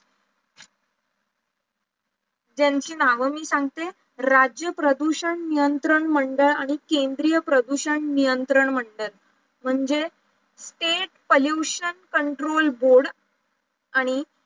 त्यांची नावं मी सांगते, राज्य प्रदूषण नियंत्रण मंडळ आणि केंद्रीय प्रदूषण नियंत्रण मंडळ म्हणजे state pollution control board आणि